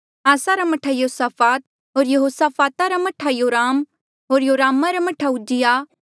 आसा रा मह्ठा यहोसाफात होर यहोसाफाता रा मह्ठा योराम होर योरामा रा मह्ठा उज्जियाह